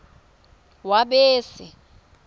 wabese